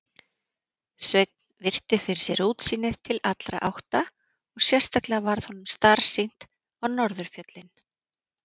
Sveinn virti fyrir sér útsýnið til allra átta og sérstaklega varð honum starsýnt á norðurfjöllin.